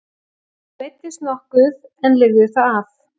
Hún meiddist nokkuð en lifði það af.